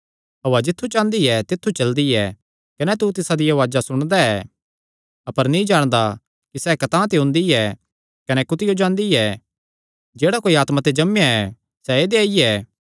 हौआ जित्थु चांह़दी ऐ तित्थु चलदी ऐ कने तू तिसदिया उआज़ा सुणदा ऐ अपर नीं जाणदा कि सैह़ कतांह ते ओंदी ऐ कने कुत्थियो जांदी ऐ जेह्ड़ा कोई आत्मा ते जम्मेया ऐ सैह़ ऐदेया ई ऐ